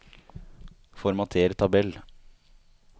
Formater tabell